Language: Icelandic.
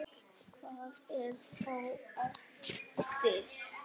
Hvað er þá eftir?